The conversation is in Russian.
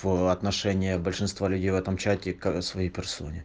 в отношении большинства людей в этом чате к своей персоне